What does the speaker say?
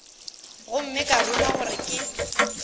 gomme ka ruma gore ke